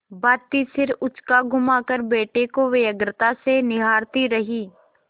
भाँति सिर उचकाघुमाकर बेटे को व्यग्रता से निहारती रही